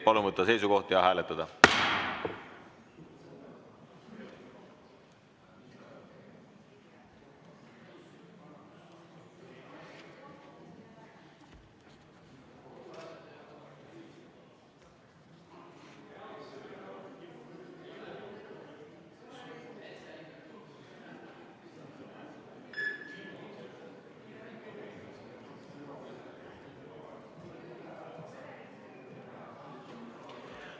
Palun võtta seisukoht ja hääletada!